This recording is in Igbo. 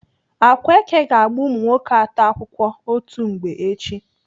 Akwaeke ga-agba umunwoke atọ akwụkwọ otu mgbe echi.